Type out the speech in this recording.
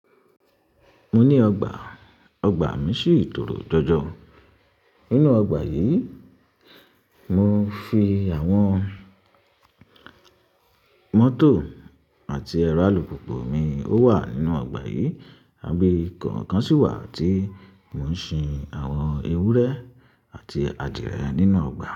Mo ní ọgbà, ọgbà mi sì tòrò jọjọ. Nínú ọgbà yì, mo fi àwọn mọ́tò àti ẹ̀rọ alùpùpù mi ó wà nínú ọgbà yì, àwọn ibi kọ̀ kan sì wà tí mo ń sin àwọn ewúrẹ́ àti adìẹ nínú ọgbà.